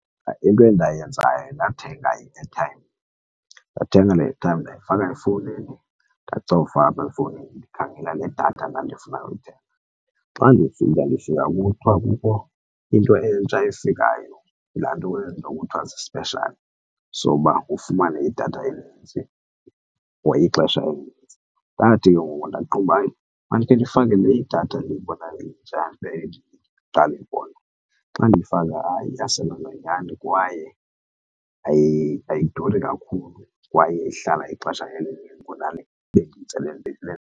Into endayenzayo ndathenga i-airtime. Ndathenga i-airtime ndayifaka efowunini ndacofa apha efowunini ndikhangela le datha ndandifuna ukuyithenga. Xa ndifika ndifika kuthiwa kukho into entsha efikayo laa nto eyenziwayo kuthiwa sisipeshali soba ufumane idatha enintsi for ixesha elinintsi. Ndathi ke ngoku ndaqonda uba mandikhe ndifake le idatha ndiyibonayo intsha ndiqaka ukuyibona. Xa ndiyifaka hayi iyasebenza nyhani kwaye ayiduri kakhulu kwaye ihlala ixesha elinintsi kunale ebendiyithenge evenkileni.